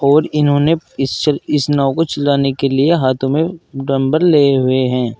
और इन्होंने इस इस नाव को चलाने के लिए हाथों में डम्बल लिए हुए हैं।